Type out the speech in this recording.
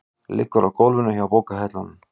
Liggur á gólfinu hjá bókahillunum.